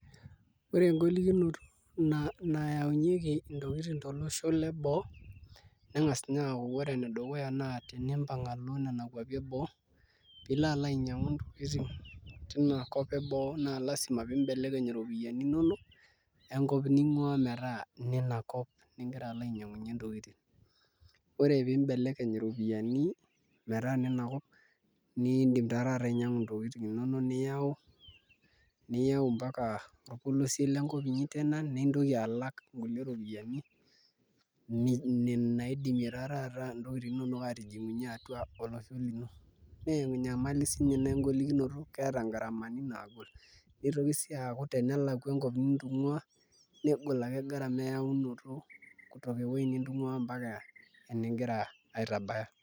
Ore engolikinoto nayaunyieki ntokitin tolosho leboo ning'as ninye aaku ore ene dukuya naa tenimoang' alo nena kuapi eboo pee ilo ainyiang'u intokitin tina kop eboo naa lasima piimbelekeny iropiyiani inonok enkop ning'uaa metaa inina kop nigira alo ainyiang'unyie ntokitin ore pee imbekekeny iropiyiani metaa inina kop niidim taa taata ainyiang'u intokitin inonok niyau mpaka orpolosie lenkop inyi tena nintoki alak nkulie ropiyiani naidimie taa duo taata ntokitin inonok aatijing'unyie atua olosho lino naa enyamali siinye ina engolikinoto keeta ngaramani naagol, nitoki sii aaku tenelakua enkop nintung'uaa negol ake gharama eyaunoto ]kutoka ewuei nitung'uaa mpaka eningira aitabaya.